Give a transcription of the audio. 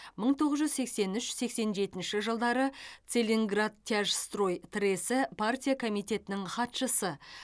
мың тоғыз жүз сексен үш сексен жетінші жылдары целиноградтяжстрой тресі партия комитетінің хатшысы